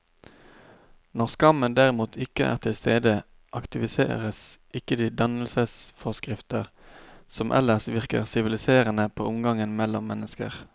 Når skammen derimot ikke er til stede, aktiveres ikke de dannelsesforskrifter som ellers virker siviliserende på omgangen mellom mennesker.